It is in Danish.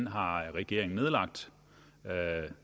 har regeringen nedlagt